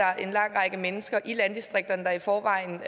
er en lang række mennesker i landdistrikterne der i forvejen